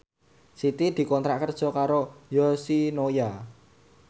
Siti dikontrak kerja karo Yoshinoya